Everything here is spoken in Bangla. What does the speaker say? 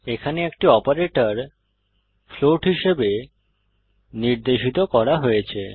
এখানে একটি অপারেটর ফ্লোট হিসাবে নির্দেশিত করা হয়েছে